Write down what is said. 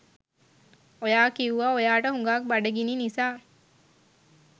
ඔයා කිවුවා ඔයාට හුඟාක් බඩගිනි නිසා